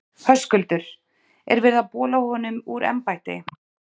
Höskuldur: Er verið að bola honum úr embætti?